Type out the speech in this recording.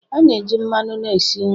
A na-eji mmanụ na-esi nri